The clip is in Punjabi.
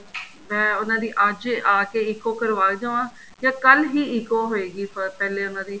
ਮੈਂ ਉਹਨਾ ਦੀ ਅੱਜ ਆ ਕੇ ECO ਕਰਵਾ ਜਾਵਾਂ ਜਾਂ ਕੱਲ ਹੀ ECO ਹੋਏਗੀ ਪਹਿਲੇ ਉਹਨਾ ਦੀ